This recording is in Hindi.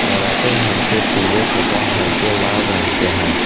पराठे हल्के पीले तथा हल्के लाल रंग के हैं।